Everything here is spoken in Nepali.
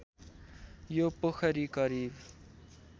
यो पोखरी करिब